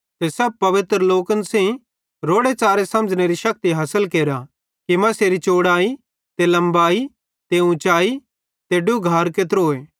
सब पवित्र लोकन सेइं रोड़े च़ारे समझ़नेरी शक्ति हासिल केरा कि तैसेरी चोड़ाई ते लमबाई ते ऊंचाई ते डुघार केत्रोए